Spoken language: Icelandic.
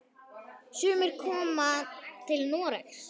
Sumir koma til Noregs.